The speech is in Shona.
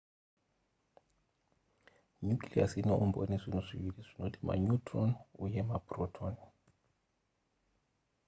nucleus inoumbwa nezvinhu zviviri zvinoti maneutron uye maproton